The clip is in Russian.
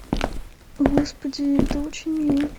господи это очень мило